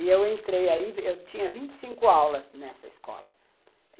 E eu entrei aí, eu tinha vinte e cinco aulas nessa escola.